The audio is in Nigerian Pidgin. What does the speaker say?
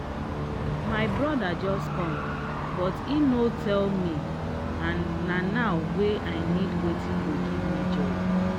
my brother just come but him no tell me and na now wey i need watin go give me joy.